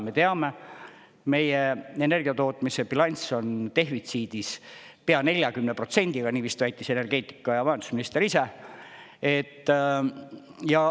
Me teame, meie energiatootmise bilanss on defitsiidis pea 40%-ga, nii vist väitis energeetika- ja majandusminister ise.